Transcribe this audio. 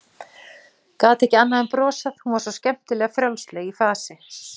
Gat ekki annað en brosað, hún var svo skemmtilega frjálsleg í fasi.